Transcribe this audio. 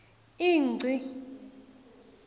ingci